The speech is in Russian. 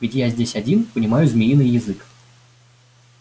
ведь я здесь один понимаю змеиный язык